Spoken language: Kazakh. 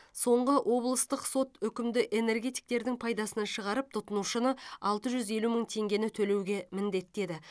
соңғы облыстық сот үкімді энергетиктердің пайдасына шығарып тұтынушыны алты жүз елу мың теңгені төлеуге міндеттеді